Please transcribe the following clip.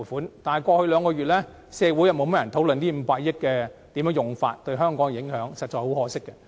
可是，在過去兩個月，社會卻甚少討論這500億元的使用及其對香港的影響，實在可惜。